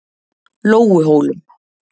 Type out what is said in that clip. Lóuhólum